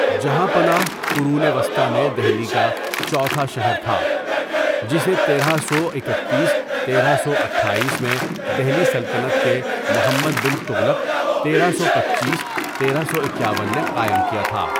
جہاں پناہ قرون وسطی میں دہلی کا چوتھا شہر تھا جسے تیرہ سو ایکتیس، تیرہ سو اٹھایس میں دہلی سلطنت کے محمد بن تغلق تیرہ سو پنچیس ،تیرہ سو اکیاون نے قائم کیا تھا۔